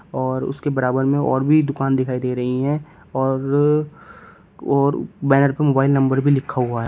और उसके बराबर में और भी दुकान दिखाई दे रही है और और बैनर पर मोबाइल नंबर भी लिखा हुआ--